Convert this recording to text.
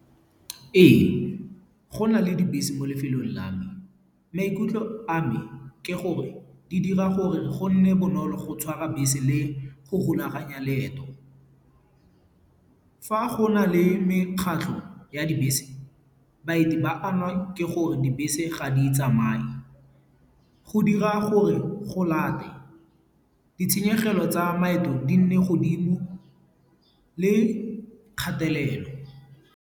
Ee, go nale dibese mo lefelong la me. Maikutlo a me ke gore di dira gore go nne bonolo go tshwara bese le go rulaganya leeto. Fa go na le mekgatlho ya dibese, baeti ba ama ke gore dibese ga di tsamaye. Go dira gore go late ditshenyegelo tsa maeto di nne godimo le kgatelelo.